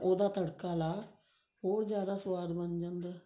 ਉਹਦਾ ਤੜਕਾ ਲਾ ਉਹ ਜਿਆਦਾ ਸਵਾਦ ਬਣ ਜਾਂਦਾ